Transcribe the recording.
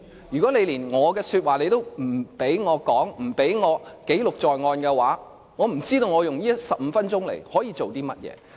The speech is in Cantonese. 如果連話也不准我說，不准我記錄在案，我不知道我可以用這15分鐘來做甚麼？